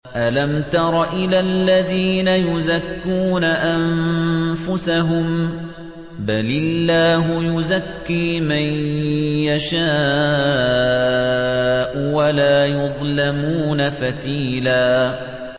أَلَمْ تَرَ إِلَى الَّذِينَ يُزَكُّونَ أَنفُسَهُم ۚ بَلِ اللَّهُ يُزَكِّي مَن يَشَاءُ وَلَا يُظْلَمُونَ فَتِيلًا